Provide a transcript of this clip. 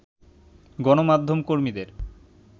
গণমাধ্যম কর্মীদের